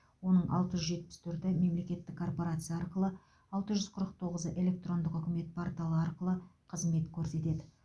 оның алты жүз жетпіс төрті мемлекеттік корпорация арқылы алты жүз қырық тоғызы электрондық үкімет порталы арқылы қызмет көрсетеді